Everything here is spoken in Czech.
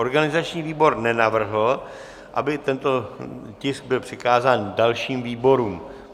Organizační výbor nenavrhl, aby tento tisk byl přikázán dalším výborům.